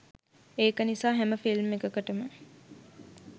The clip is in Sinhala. ඒක නිසා හැම ෆිල්ම් එකකටම